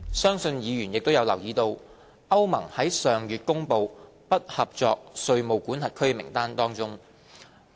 相信議員亦有留意到，歐盟於上月公布"不合作稅務管轄區"名單。